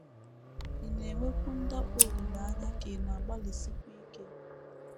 Ị̀ na - enwekwu ndakpọ olileanya ka ị na - agbalịsikwu ike?